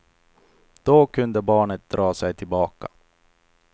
Då kunde barnet dra sig tillbaka.